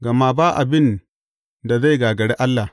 Gama ba abin da zai gagari Allah.